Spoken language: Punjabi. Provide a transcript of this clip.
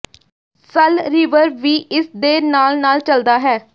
ਸਲ ਰਿਵਰ ਵੀ ਇਸ ਦੇ ਨਾਲ ਨਾਲ ਚੱਲਦਾ ਹੈ